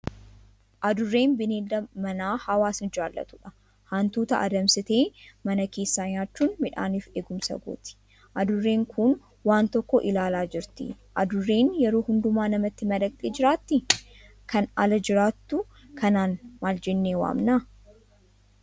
Adurreen bineelda manaa hawaasni jaalatudha. Hantuuta adamsitee mana keessaa nyaachuun midhaaniif eegumsa gooti. Adurreen kun waan tokko ilaalaa jirti. Adurreen yeroo hundumaa namatti madaqxee jiraattii? Kan ala jiraattu kanaan maal jennee waamna?